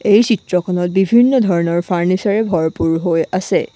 এই চিত্ৰখনত বিভিন্ন ধৰণৰ ফাৰ্নিচাৰ ভৰপূৰ হৈ আছে।